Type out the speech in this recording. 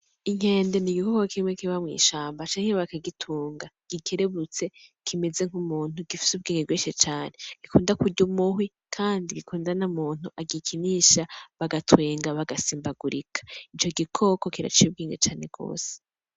Inkende n'igikoko kimwe kiba mw’ishamba, canke bakagitunga. Gikerebutse, kimeze nk’umuntu, gifise ubwenge bwinshi cane. Gikunda kurya umuhwi, kandi gikunda na muntu agikinisha bagatwenga bagasimbagurika. Ico gikoko kiraciye ubwenge cane rwose.